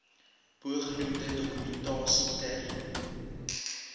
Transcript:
bogenoemde dokumentasie ter